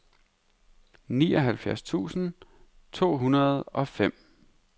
nioghalvfjerds tusind to hundrede og fem